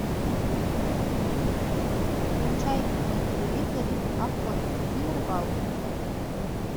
включай на телевизоре охота и рыбалка